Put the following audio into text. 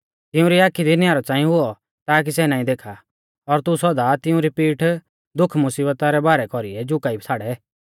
तिऊं री आखी दी न्यारौ च़ांई हुऔ ताकि सै नाईं देखा और तू सौदा तिऊं री पीठ दुखमुसिबता रै भारै कौरीऐ झुकाई छ़ाड़ै